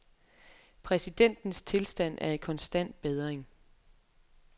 Præsidentens tilstand er i konstant bedring.